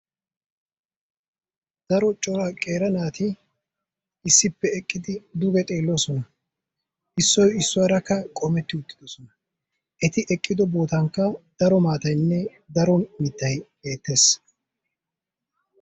Daro cora qeera naati issippe eqqidi duge xeelloosona. Issoyi issuwagaarakka qoometti uttidosona. Eti eqqido bootankka daro maataynne daro mittayi beettes.